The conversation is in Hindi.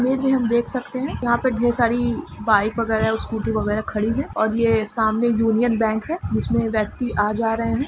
यहा पे हम देख सकते है यहा पे ढेर सारी बाईक वगेरा स्कूटी वगेरा खड़ी है और ये सामने यूनियन बैंक है जिसमे व्यक्ति आ जा रहे है।